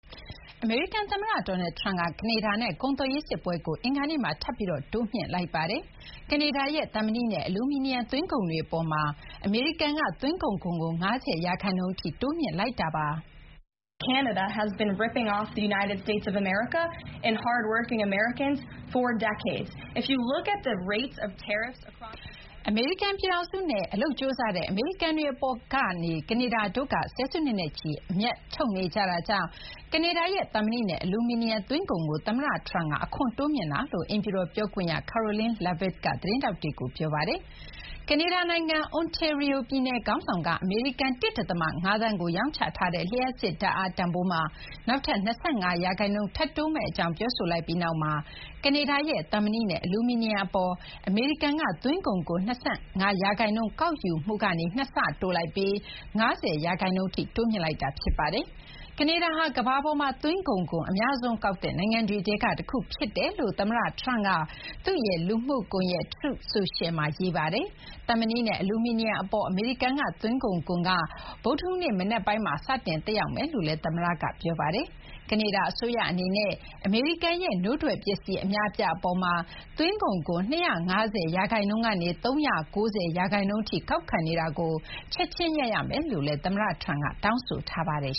အမေရိကန်သမ္မတ Donald Trump က ကနေဒါနဲ့ ကုန်သွယ်ရေးစစ်ပွဲကို အင်္ဂါနေ့မှာ ထပ်ပြီး တိုးမြှင့်လိုက်ပါတယ်။ ကနေဒါရဲ့ သံမဏိနဲ့ အလူမီနီယံ သွင်းကုန်တွေအပေါ်မှာ အမေရိကန်က သွင်းကုန်ခွန်ကို ၅၀% ထိ တိုးမြှင့်လိုက်ပါတယ်။ အမေရိကန်နဲ့ အလုပ်ကြိုးစားတဲ့ အမေရိကန်တွေအပေါ်မှာ ကနေဒါတို့က ဆယ်စုနှစ်နဲ့ချီ အမြတ်ထုတ်နေကြတာကြောင့် ကနေဒါရဲ့ သံမဏိနဲ့ အလူမီနီယံ သွင်းကုန်ခွန်ကို သမ္မတ Trump က တိုးမြှင့်လိုက်တာလို့ အိမ်ဖြူတော်ပြောခွင့်ရ Karoline Leavitt က သတင်းထောက်တွေကို ပြောပါတယ်။ ကနေဒါနိုင်ငံ Ontario ပြည်နယ် ခေါင်းဆောင်က အမေရိကန် ၁.၅ သန်းကို ရောင်းချထားတဲ့ လျှပ်စစ်ဓာတ်အား တန်ဖိုးမှာ နောက်ထပ် ၂၅% ထပ်တိုးမယ့်အကြောင်း ပြောဆိုလိုက်ပြီးနောက်မှာ ကနေဒါရဲ့ သံမဏိနဲ့ အလူမီနီယံအပေါ် အမေရိကန်က သွင်းကုန်ခွန် ၂၅% ကောက်ယူမှုကနေ ၂ ဆ တိုးပြီး ၅၀% အထိ တိုးမြှင့်လိုက်တာ ဖြစ်ပါတယ်။ ကနေဒါဟာ ကမ္ဘာပေါ်မှာ သွင်းကုန်ခွန် အများဆုံးကောက်တဲ့ နိုင်ငံတွေထဲက တခုဖြစ်ကြောင်း သမ္မတ Trump က သူ့ရဲ့လူမှုကွန်ရက် Truth Social မှာ ရေးထားပါတယ်။ သံမဏိနဲ့ အလူမီနီယံအပေါ် အမေရိကန် သွင်းကုန်ခွန်က ဗုဒ္ဓဟူးနေ့မနက်ပိုင်းမှာ စတင် သက်ရောက်မယ့်အကြောင်းလည်း သမ္မတက ပြောပါတယ်။ ကနေဒါအစိုးရအနေနဲ့ အမေရိကန်ရဲ့ နို့ထွက်ပစ္စည်း အများအပြားအပေါ်မှာ သွင်းကုန်ခွန် ၂၅၀% ကနေ ၃၉၀% ထိ ကောက်ခံနေတာကို ချက်ချင်း ရပ်ရမယ်လို့လည်း သမ္မတ Trump က တောင်းဆိုထားပါတယ်